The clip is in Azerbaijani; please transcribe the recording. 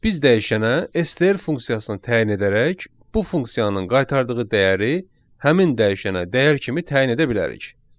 Biz dəyişənə STR funksiyasını təyin edərək bu funksiyanın qaytardığı dəyəri həmin dəyişənə dəyər kimi təyin edə bilərik.